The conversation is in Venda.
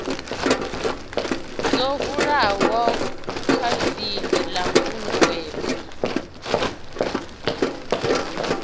ḓo hulaho kavhili ḽa khunguwedzo